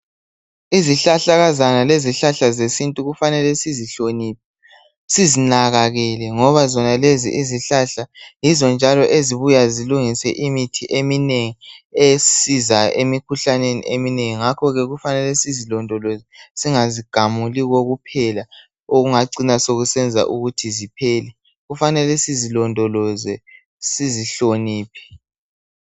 Izihlahlakazana, lezihlahla zesintu, kufanele sizihloniphe. Sizinakekele ngoba zonalezi izihlahla yizo njalo ezibuya, zenze imithi eminengi esisizayo, emikhuhlaneni eminengi. Singazigamuli kokuphela. Okungacina sokusenza ukuthi ziphele. Kufanele sizilondoloze, sizihloniphe.